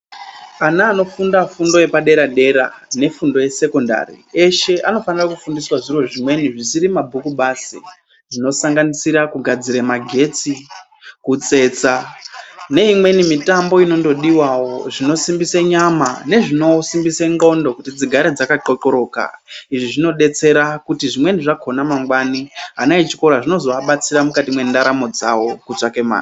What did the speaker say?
Ana anofunda fundo yepadera-dera nefundo yesekondari eshe anofanira kufundisaa zviro zvimweni zvisiri mabhuku basi zvinosanganisira kugadzira magetsi, kutsetsa neimweni mitambo inondodiwawo inosimbisa nyama nezvinosimbisa nxondo kuti dzigare dzakaxoxoroka izvi zvinodetsera kuti zvimweni zvakona mangwani ana echikora zvinozoabatsira mukati mendaramoo dzawo kutsvake mare .